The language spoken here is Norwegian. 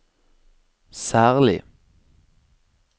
særlig